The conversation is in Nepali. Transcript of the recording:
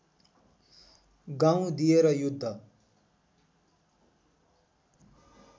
गाउँ दिएर युद्ध